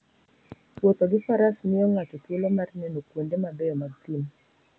Wuotho gi Faras miyo ng'ato thuolo mar neno kuonde mabeyo mag thim.